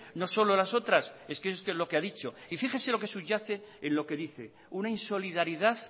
no solo las otras es que es lo que ha dicho y fíjese lo que subyace en lo que dice una insolidaridad